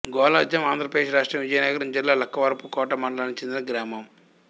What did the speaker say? గొల్జాం ఆంధ్ర ప్రదేశ్ రాష్ట్రం విజయనగరం జిల్లా లక్కవరపుకోట మండలానికి చెందిన గ్రామం